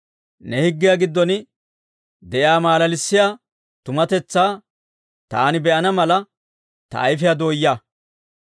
Ne higgiyaa giddon de'iyaa malalissiyaa tumatetsaa, taani be'ana mala, ta ayifiyaa dooyaa.